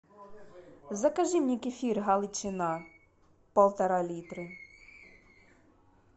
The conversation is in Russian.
закажи мне кефир галичина полтора литра